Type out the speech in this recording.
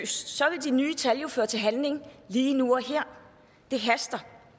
så ville de nye tal jo føre til handling lige nu og her det haster